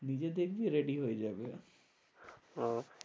নিজে দেখবি ready হয়ে যাবে। okay